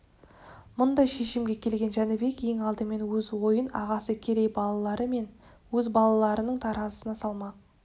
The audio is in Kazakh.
мұндай шешімге келген жәнібек ең алдымен өз ойын ағасы керей балалары мен өз балаларының таразысына салмақ